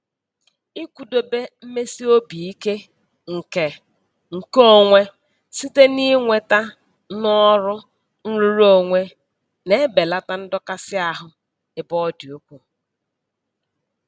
Ịkwụdobe mmesi obi ike nke nke onwe site n'inweta n'ọrụ nrụrụonwe na-ebelata ndọkasị ahụ ebe ọ dị ukwu.